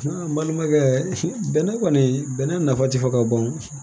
N balimakɛ bɛnɛ kɔni bɛnɛ nafa ti fɔ ka ban